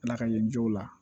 Ala ka yirijow la